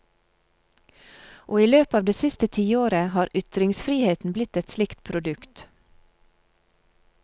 Og i løpet av det siste tiåret har ytringsfriheten blitt et slikt produkt.